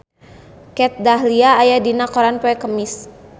Kat Dahlia aya dina koran poe Kemis